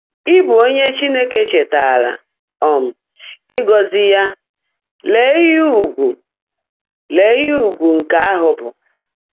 Ị́bụ́ ónyé Chínekè chèètaárá um ị́gọ́zị́ yá — leè íhe ụ̀gwụ̀ leè íhe ụ̀gwụ̀ nkè áhụ́ bụ́!